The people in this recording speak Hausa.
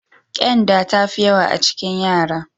Ƙyanda ta fi yawa a cikin yara.